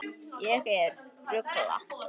Ég er að rugla.